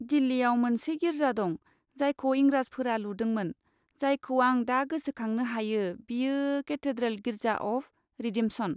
दिल्लीयाव मोनसे गिर्जा दं, जायखौ इंराजफोरा लुदोंमोन, जायखौ आं दा गोसोखांनो हायो, बेयो केथेड्रेल गिर्जा अफ रिडेम्पसन।